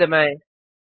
enter दबाएं